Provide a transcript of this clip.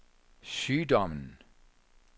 sygdommen